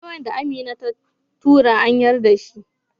memon da Amina ta tura an yarda dashi